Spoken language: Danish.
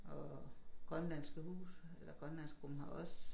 Og grønlandske hus eller grønlandsgruppen har også